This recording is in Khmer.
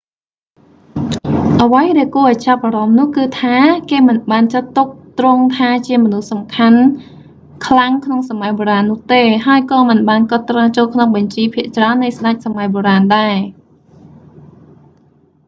អ្វីដែលគួរឱ្យចាប់អារម្មណ៍នោះគឺថា គេមិនបានចាត់ទុកទ្រង់ថាជាមនុស្សសំខាន់ខ្លាំងក្នុងសម័យបុរាណនោះទេ ហើយក៏មិនបានកត់ត្រាចូលក្នុងបញ្ជីភាគច្រើននៃស្តេចសម័យបុរាណដែរ